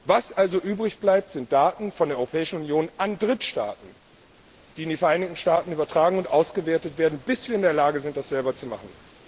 Was also übrig bleibt, sind Daten von der Europäischen Union an Drittstaaten, die in die Vereinigten Staaten übertragen und ausgewertet werden, bis wir in der Lage sind, das selber zu machen.